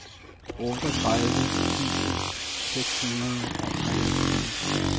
otteogtredive tusind seks hundrede og treogtyve